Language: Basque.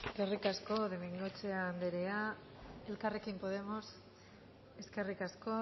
eskerrik asko de bengoechea andrea elkarrekin podemos eskerrik asko